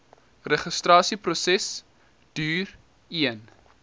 registrasieproses duur een